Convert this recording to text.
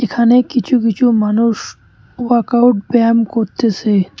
এখানে কিছু কিছু মানুষ ওয়াকআউট ব্যায়াম করতেসে।